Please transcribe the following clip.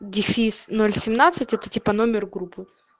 дефис ноль семнадцать это типа номер группы